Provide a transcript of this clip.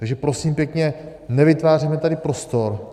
Takže prosím pěkně, nevytvářejme tady prostor.